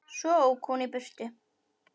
Svo ók hún í burtu.